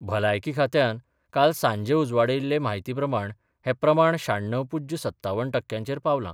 भलायकी खात्यान काल सांजे उजवाडायिल्ले म्हायतीप्रमाण हें प्रमाण शाण्णव पूज्य सत्तावन टक्यांचेर पावलां.